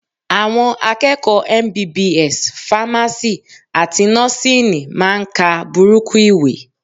Àwọn akẹ́kọ̀ọ́ MBBS, Fámásì àti Nọ́síìnì máa ń ka burúkú ìwé